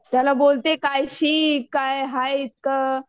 त्याला बोलते काय शिक काय हाय इतकं